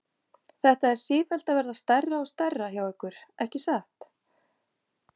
Þetta er sífellt að verða stærra og stærra hjá ykkur, ekki satt?